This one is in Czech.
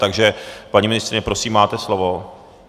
Takže paní ministryně, prosím, máte slovo.